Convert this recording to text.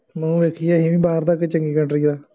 ਮੂੰਹ ਵੇਖੀਏ ਅਸੀਂ ਵੀ ਬਾਹਰ ਦਾ, ਕਿਸੇ ਚੰਗੀ country ਦਾ